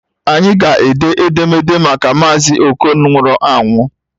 Anyị ga-ede edemede maka Mazi okon nwụrụ anwụ